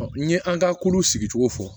n ye an ka kuluw sigi cogo fɔ